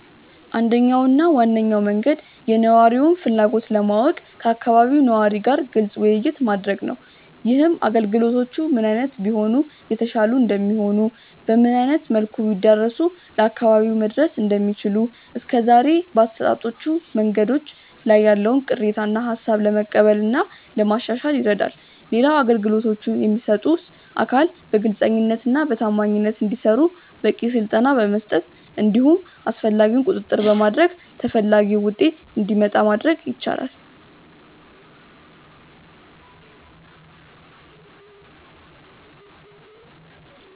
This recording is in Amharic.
አንደኛው እና ዋነኛው መንገድ የነዋሪውን ፍላጎት ለማወቅ ከአካባቢው ነዋሪ ጋር ግልጽ ውይይት ማድረግ ነው። ይህም አገልግሎቶቹ ምን አይነት ቢሆኑ የተሻሉ እንደሚሆኑ፤ በምን አይነት መልኩ ቢዳረሱ ለአካባቢው መድረስ እንደሚችሉ፤ እስከዛሬ በአሰጣጦቹ መንገዶች ላይ ያለውን ቅሬታ እና ሃሳብ ለመቀበል እና ለማሻሻል ይረዳል። ሌላው አገልግሎቶቹን የሚሰጡት አካል በግልጸኝነት እና በታማኝነት እንዲሰሩ በቂ ስልጠና በመስጠት እንዲሁም አስፈላጊውን ቁጥጥር በማድረግ ተፈላጊው ውጤት እንዲመጣ ማድረግ ይቻላል።